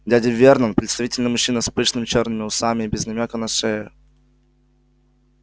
дядя вернон представительный мужчина с пышными чёрными усами и без намёка на шею